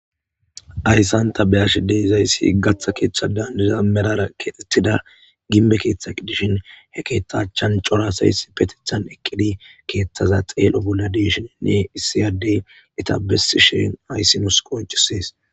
Ayssanta beyashe deizayssi gaththa keeththa dandida merara keexetida ginbe keeththa qiddishin he keethtachan corasays petethan eqqidi keeththaza xeel7o bolla deshininne issiyadey etabessi sheen ayssi nus koncisees